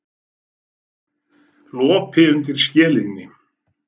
Lopi undir skelinni.